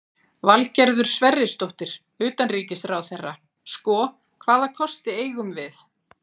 Valgerður Sverrisdóttir, utanríkisráðherra: Sko, hvaða kosti eigum við?